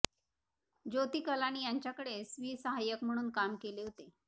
ज्योती कलानी यांच्याकडे स्वीय सहाय्यक म्हणून काम केले होते